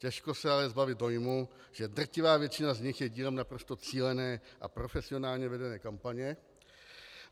Těžko se ale zbavit dojmu, že drtivá většina z nich je dílem naprosto cílené a profesionálně vedené kampaně.